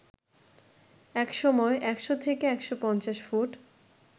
একসময় ১০০ থেকে ১৫০ ফুট